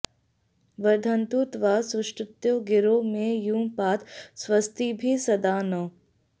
वर्धन्तु त्वा सुष्टुतयो गिरो मे यूयं पात स्वस्तिभिः सदा नः